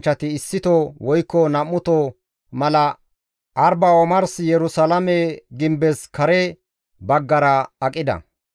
Dumma dumma miishshata ehi zal7iza zal7anchchati issito woykko nam7uto mala Arba omars Yerusalaame gimbes kare baggara aqida;